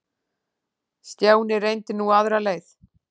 Stjáni reyndi nú aðra leið.